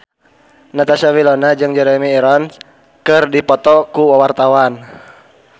Natasha Wilona jeung Jeremy Irons keur dipoto ku wartawan